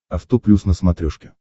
авто плюс на смотрешке